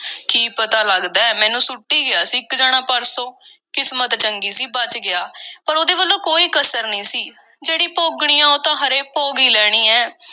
ਕੀ ਪਤਾ ਲੱਗਦੈ, ਮੈਨੂੰ ਸੁੱਟ ਈ ਗਿਆ ਸੀ ਇੱਕ ਜਣਾ, ਪਰਸੋਂ। ਕਿਸਮਤ ਚੰਗੀ ਸੀ ਬਚ ਗਿਆ, ਪਰ ਉਹਦੇ ਵੱਲੋਂ ਕੋਈ ਕਸਰ ਨਹੀਂ ਸੀ— ਜਿਹੜੀ ਭੋਗਣੀ ਆ, ਉਹ ਤਾਂ ਹਰੇ ਭੋਗ ਈ ਲੈਣੀ ਐ।